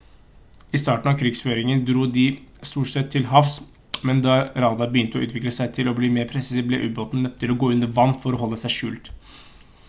i starten av krigføringen dro de stort sett til havs men da radar begynte å utvikle seg og bli mer presis ble ubåtene nødt til å gå under vann for å holde seg skjult